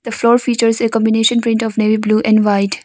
The floor features a combination print of navy blue and white.